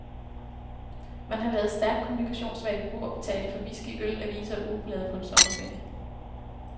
Man har ladet stærkt kommunikationssvage beboere betale for whisky, øl, aviser og ugeblade på en sommerferie.